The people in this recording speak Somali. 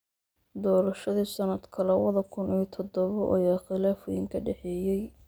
Doorashadii sannadka labada kun iyo toddoba ayaa khilaaf weyni ka dhexeeyey.